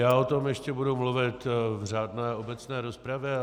Já o tom ještě budu mluvit v řádné obecné rozpravě.